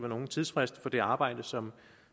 nogen tidsfrist for det arbejde som